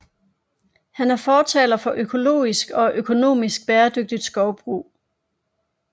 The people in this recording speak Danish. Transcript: Han er fortaler for økologisk og økonomisk bæredygtigt skovbrug